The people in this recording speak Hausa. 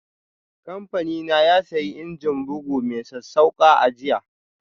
Kamfanina ya sayi injin bugu mai sassauƙa a jiya.